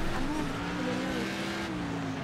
Xanunku kuululay.